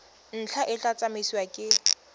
ntlha e tla tsamaisiwa ke